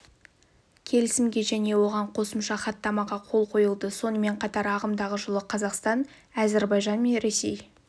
келісімге және оған қосымша хаттамаға қол қойылды сонымен қатар ағымдағы жылы қазақстан әзербайжан мен ресей